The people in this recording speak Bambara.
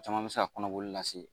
Caman bɛ se ka kɔnɔboli lase